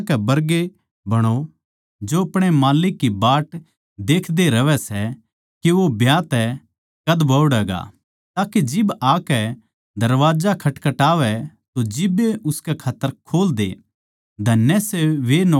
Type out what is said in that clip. अर थम उन माणसां कै बरगे बणो जो अपणे माल्लिक की बाट देखते रहवै सै के वो ब्याह तै कद बोहड़ैगा ताके जिब आकै दरबाजा खटखटावै तो जिब्बे उसकै खात्तर खोल द्यो